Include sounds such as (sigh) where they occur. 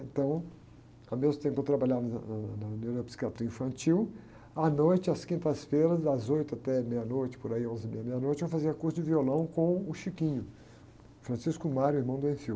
Então, ao mesmo tempo que eu trabalhava em ne, na neuropsiquiatria infantil, à noite, às quintas-feiras, das oito até meia-noite, por aí, onze e meia, meia-noite, eu fazia curso de violão com o,, (unintelligible) irmão do. (unintelligible)